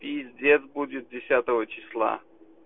пиздец будет десятого числа